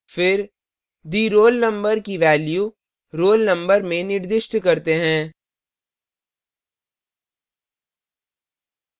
फिर the _ roll _ number की value roll _ number में निर्दिष्ट करते हैं